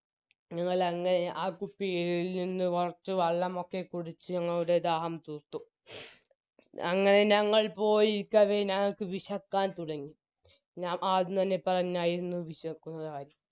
ഞങ്ങളങ്ങനെ ആ കുപ്പിയിൽ നിന്നും കൊറച്ചു വെള്ളമൊക്കെ കുടിച്ച് ഞങ്ങളുടെ ദാഹം തീർത്തു അങ്ങനെ ഞങ്ങൾ പോയിരിക്കവേ ഞങ്ങൾക്ക് വിശക്കാൻ തുടങ്ങി ഞാൻ ആദ്യംതന്നെ പറഞ്ഞായിരുന്നു വിശപ്പുള്ളകാര്യം